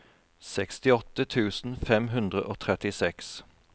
sekstiåtte tusen fem hundre og trettiseks